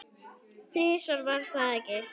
Þrisvar, var það ekki?